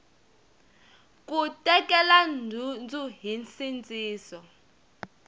ku tekela nhundzu hi nsindziso